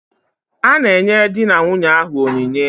A na-enye di na nwunye ahụ onyinye.